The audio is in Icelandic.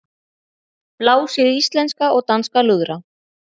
Blásið í íslenska og danska lúðra